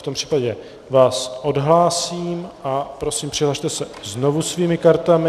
V tom případě vás odhlásím a prosím, přihlaste se znovu svými kartami.